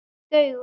Þvílík augu!